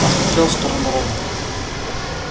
посмотрел в сторону рона